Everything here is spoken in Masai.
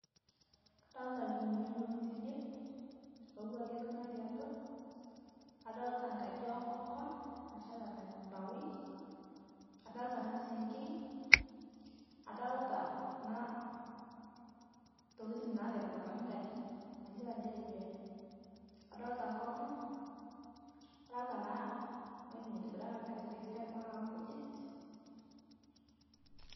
Kadolita lkuniyiani looti ide loowa keitoki natii atwa, adolita kaji enkokon nasheta tembaoi, adolita ana sengei, adolita kuna totokitin naatepetokaki nkaji mayeolo ajo kejuai, adolita nkokon, nadolita naa ng'oji netibirakaki ajo ketketipikaki nkujit.